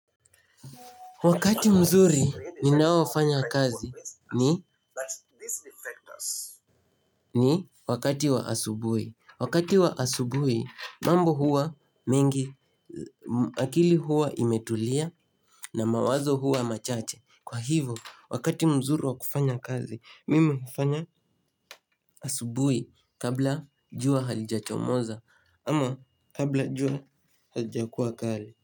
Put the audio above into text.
Wakati mzuri ninaofanya kazi ni ni wakati wa asubuhi wakati wa asubuhi mambo huwa mingi akili huwa imetulia na mawazo huwa machache kwa hivo wakati mzuri wa kufanya kazi mimi hufanya asubui kabla jua halijachomoza ama kabla jua halijakuwa kali.